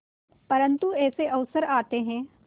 परंतु ऐसे अवसर आते हैं